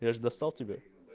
я же достал тебя